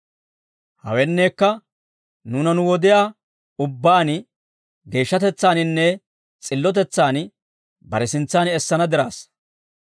Hawenneekka, nuuna nu wodiyaa ubbaan, geeshshatetsaaninne s'illotetsaan, bare sintsaan essana diraassa.